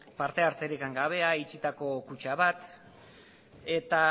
parte hartzerik gabea itxitako kutxa bat